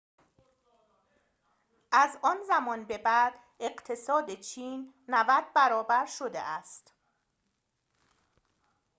از آن زمان به بعد اقتصاد چین ۹۰ برابر شده است